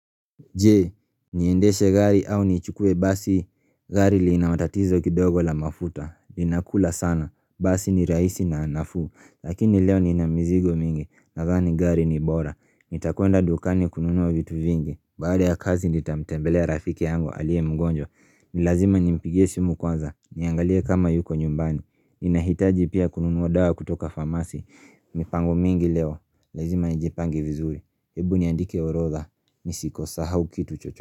Je, niendeshe gari au nichukuwe basi? Gari lina matatizo kidogo la mafuta, inakula sana, basi ni rahisi na nafuu, lakini leo niina mizigo mingi, nadhani gari ni bora, nitakwenda dukani kununua vitu vingi, baada ya kazi nitamtembelea ya rafiki yangu aliye mgonjwa, ni lazima nimpigie simu kwanza, niangalie kama yuko nyumbani, Ninahitaji pia kununua dawa kutoka famasi, mipango mingi leo, lazima nijipange vizuri. Hebu niandike orodha nisikusahau kitu chochote.